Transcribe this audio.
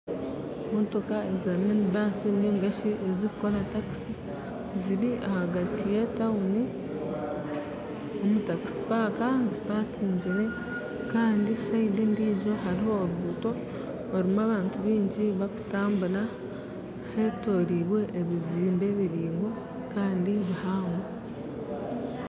Emotoka za minibaasi ninga shi ezirikukora takisi ziri ahagati y'etawuni omu takisi paaka zipakingire kandi orubaju orundi hariho oruguto orurimu abantu baingi barikutambura hetoroirwe ebyombeko biraingwa kandi bihango.